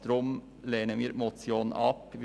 Deshalb lehnen wir die Motion ab.